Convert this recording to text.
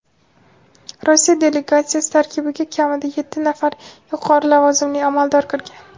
Rossiya delegatsiyasi tarkibiga kamida yetti nafar yuqori lavozimli amaldor kirgan.